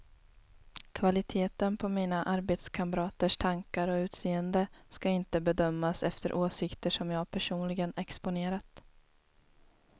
Kvaliteten på mina arbetskamraters tankar och utseende ska inte bedömas efter åsikter som jag personligen exponerat.